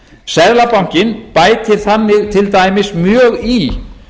seðlabankinn bætir þannig til dæmis mjög í